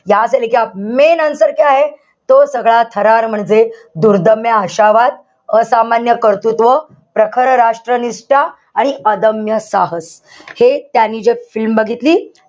main answer तो सगळं थरार म्हणजे, दुर्दम्य आशावाद, असामान्य कर्तृत्व, प्रखर राष्ट्रनिष्ठा आणि अदम्य साहस. हे त्यांनी जे film बघितली.